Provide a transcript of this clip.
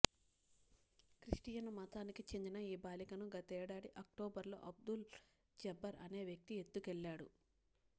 Christian మతానికి చెందిన ఈ బాలికను గతేడాది అక్టోబర్ లో అబ్దుల్ జబ్బర్ అనే వ్యక్తి ఎత్తుకెళ్లాడు